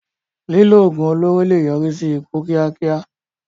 Lílo oògùn olóró lè yọrí sí ikú kíákíá.